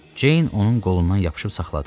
Ceyn onun qolundan yapışıb saxladı.